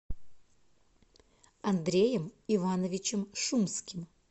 андреем ивановичем шумским